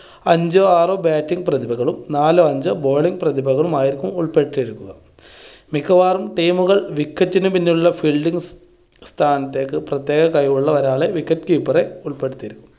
അഞ്ചോ ആറോ batting പ്രതിഭകളും നാലോ അഞ്ചോ bowling പ്രതിഭകളും ആയിരിക്കും ഉൾപ്പെട്ടിരിക്കുക. മിക്കവാറും team കൾ wicket ന് പിന്നിലുള്ള fielding സ്ഥാനത്തേക്ക് പ്രത്യേക കഴിവുള്ള ഒരാളെ wicket keeper റ് ഉൾപ്പെടുത്തിയിരിക്കും.